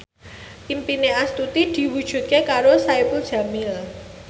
impine Astuti diwujudke karo Saipul Jamil